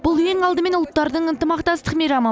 бұл ең алдымен ұлттардың ынтымақтастық мейрамы